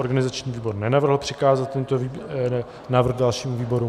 Organizační výbor nenavrhl přikázat tento návrh dalšímu výboru.